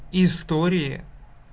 истории